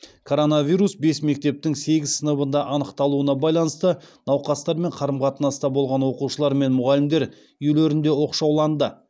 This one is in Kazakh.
коронавирус бес мектептің сегіз сыныбында анықталуына байланысты науқастармен қарым қатынаста болған оқушылар мен мұғалімдер үйлерінде оқшауланды